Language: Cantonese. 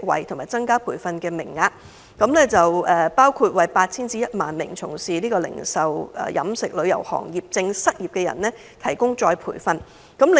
第一，增加培訓名額，包括為 8,000 至 10,000 名原本從事零售、飲食或旅遊業的失業人士提供再培訓課程。